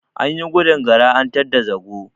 Anyi gudun Gara an tadda zago.